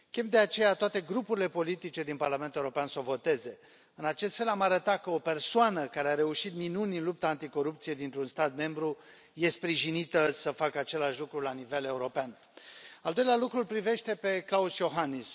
Chem, de aceea, toate grupurile politice din Parlamentul European să o voteze. În acest fel, am arăta că o persoană, care a reușit minuni în lupta anticorupție dintr un stat membru este sprijinită să facă același lucru la nivel european. Al doilea lucru îl privește pe Klaus Iohannis.